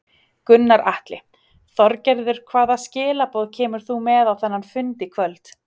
Gunnar Atli: Þorgerður hvaða skilaboð kemur þú með á þennan fund í kvöld?